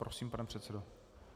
Prosím, pane předsedo.